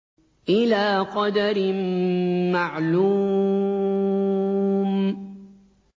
إِلَىٰ قَدَرٍ مَّعْلُومٍ